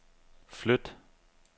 flyt